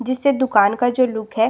जिससे दुकान का जो लुक है।